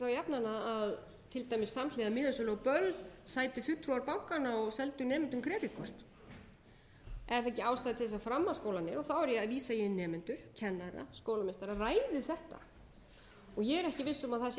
jafnan að til dæmis samhliða miðasölu á böll sætu fulltrúar bankana og seldu nemendum kreditkort er þá ekki ástæða til að framhaldsskólarnir og þá er ég að vísa í nemendur kennara og skólameistara ræði þetta ég er ekki viss um að það sé